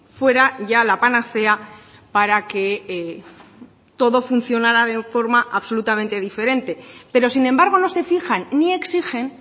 fuera ya la panacea para que todo funcionara de forma absolutamente diferente pero sin embargo no se fijan ni exigen